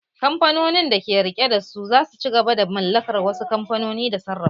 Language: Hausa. Kamfanonin da ke rike da su za su ci gaba da mallakar wasu kamfanoni da sarrafa su